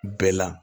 Bɛɛ la